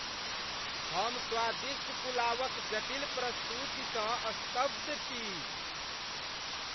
हम स्वादिष्ट पुलावक जटिल प्रस्तुतिसँ स्तब्ध छी ।